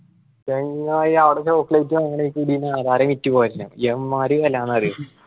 ചെങ്ങായി അവടെ chocolate വാങ്ങണേൽ കൂടി വിറ്റു എമ്മാതിരി വെലാന്ന് അറിയോ.